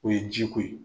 O ye ji ko ye